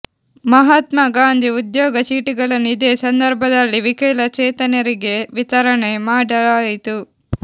ಮಹಾತ್ನಾ ಗಾಂಧಿ ಉದ್ಯೋಗ ಚೀಟಿಗಳನ್ನು ಇದೇ ಸಂದರ್ಭದಲ್ಲಿ ವಿಕಲಚೇತನರಿಗೆ ವಿತರಣೆ ಮಾಡಲಾಯಿತು